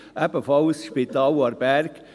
Ebenfalls das Spital Aarberg: